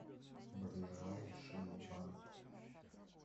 ближайший вант